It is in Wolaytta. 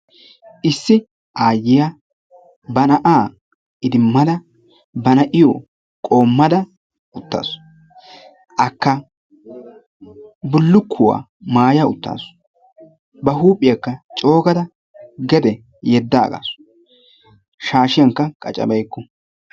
Issi aayiya ba na'a idimadda, ba na'iyo qommada uttaasu, akka bullukuwaa maaya uttaasu. Ba huuphiyaakka coo gada gede yedaagasu, shashshiyankka qaccabeyku.